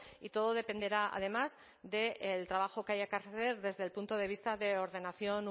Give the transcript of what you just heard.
y todo dependerá además del trabajo que haya que hacer desde el punto de vista de ordenación